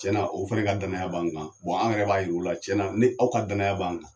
Cɛn na o fɛ ka danaya b'an kan an yɛrɛ b'a yir'u la, cɛn na ni aw ka danaya b'an kan